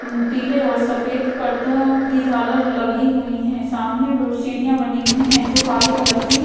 पीले और सफेद परदो की झालर लगी हुई है सामने वो सीढ़िया बनी हुई हैं जो काले कलर --